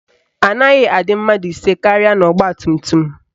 Anaghị adị mmadụ ise karịa n'ọgbatumtum